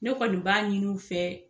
Ne kɔni b'a ɲini u fɛ